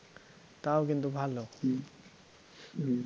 তাও কিন্তু ভালো